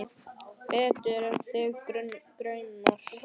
Betur en þig grunar.